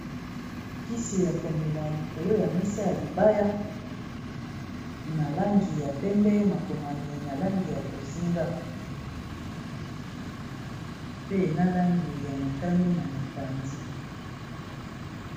kisi ya komela likolo ya mesa ya libaya na langi ya pembe, makomami na langi ya bozinga pe na langi ya motani na mopanzi .